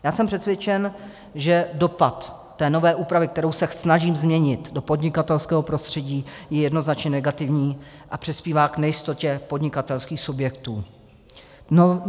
Já jsem přesvědčen, že dopad té nové úpravy, kterou se snažím změnit, do podnikatelského prostředí je jednoznačně negativní a přispívá k nejistotě podnikatelských subjektů.